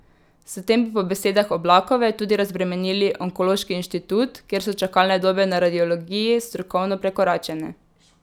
S tem bi po besedah Oblakove tudi razbremenili onkološki inštitut, kjer so čakalne dobe na radiologiji strokovno prekoračene.